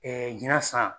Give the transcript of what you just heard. ɲina san